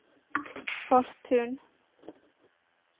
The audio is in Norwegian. Fortun